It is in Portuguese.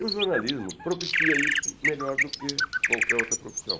E o jornalismo propicia isso melhor do que qualquer outra profissão.